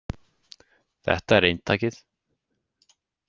﻿Þetta er eintakið.